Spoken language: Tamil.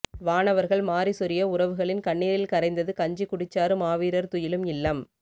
வானவர்கள் மாரி சொரிய உறவுகளின் கண்ணீரில் கரைந்தது கஞ்சிகுடிச்சாறு மாவீரர் துயிலும் இல்லம்